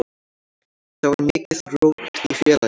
Þá var mikið rót í félaginu.